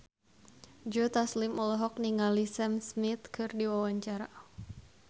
Joe Taslim olohok ningali Sam Smith keur diwawancara